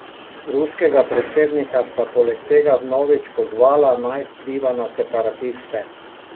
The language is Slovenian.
Ruskega predsednika sta poleg tega vnovič pozvala, naj vpliva na separatiste.